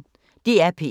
DR P1